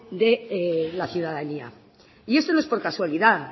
de la ciudadanía y esto no es por casualidad